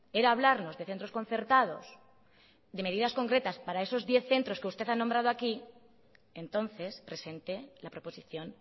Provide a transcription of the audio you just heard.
era hablarnos de centros concertados de medidas concretas para esos diez centros que usted ha nombrado aquí entonces presente la proposición